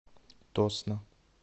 тосно